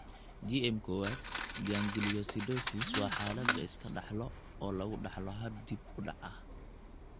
GM kowaad gangliosidosis waa xaalad la iska dhaxlo oo lagu dhaxlo hab dib u dhac ah.